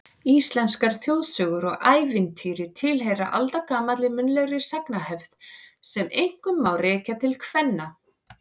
Íslenskar þjóðsögur og ævintýri tilheyra aldagamalli munnlegri sagnahefð sem einkum má rekja til kvenna.